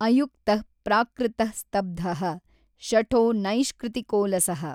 ಅಯುಕ್ತಃ ಪ್ರಾಕೃತಃ ಸ್ತಬ್ಧಃ ಶಠೋ ನೈಷ್ಕೃತಿಕೋಲಸಃ।